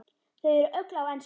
Þau eru öll á ensku.